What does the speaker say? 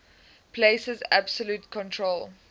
places absolute control